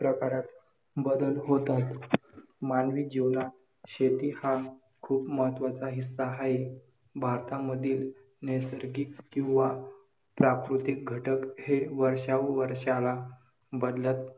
खुले द्वार हे विशेषण आहे खुले नाम आहे द्वार एक उडी विशेषण आहे एक नम आहे उडी तोंडी परी~